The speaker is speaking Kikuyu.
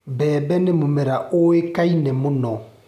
Mbembe nĩ mũmera ũĩkaine mũno.